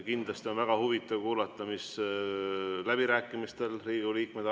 Kindlasti on väga huvitav kuulata, mida Riigikogu liikmed läbirääkimistel arvavad.